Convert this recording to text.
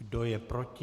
Kdo je proti?